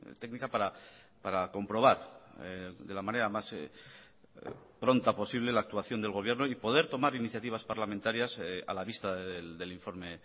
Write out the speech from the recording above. técnica para comprobar de la manera más pronta posible la actuación del gobierno y poder tomar iniciativas parlamentarias a la vista del informe